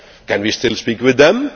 Can we still speak with them?